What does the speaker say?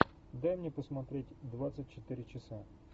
дай мне посмотреть двадцать четыре часа